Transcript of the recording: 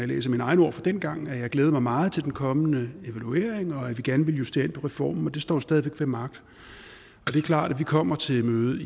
læser mine egne ord fra dengang kan at jeg glædede mig meget til den kommende evaluering og at vi gerne ville justere på reformen det står stadig væk ved magt det er klart at vi kommer til mødet